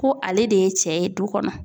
Ko ale de ye cɛ ye du kɔnɔ